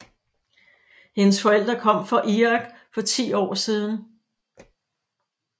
Hendes forældre kom fra Irak for 10 år siden